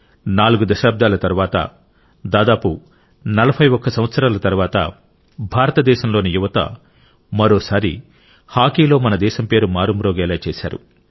నాలుగు దశాబ్దాల తరువాత దాదాపు 41 సంవత్సరాల తరువాత భారతదేశంలోని యువత మరోసారి హాకీలో మన దేశం పేరు మారుమోగేలా చేశారు